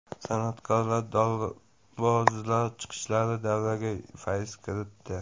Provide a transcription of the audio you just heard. San’atkorlar, dorbozlar chiqishlari davraga fayz kiritdi.